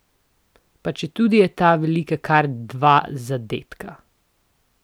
Pa četudi je ta velika kar dva zadetka.